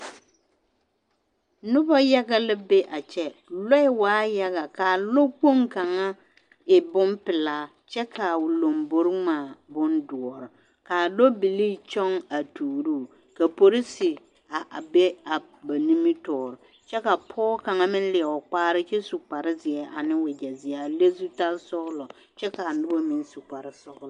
Noba yaga la be a kyɛ, lɔɛ waa yaga k'a lɔkpoŋ kaŋa e bompelaa kyɛ k'a o lombori ŋmaa bondoɔre k'a lɔbilii kyɔŋ a tuuruu, ka polisi a be a ba nimitɔɔre kyɛ ka pɔge kaŋ meŋ leɛ o kpaare kyɛ su kpare zeɛ ane wegyɛ zeɛ a le zutal-sɔgelɔ kyɛ k'a noba meŋ su koare sɔgelɔ.